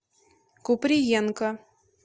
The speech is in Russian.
куприенко